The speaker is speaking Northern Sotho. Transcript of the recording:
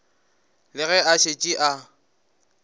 le ge a šetše a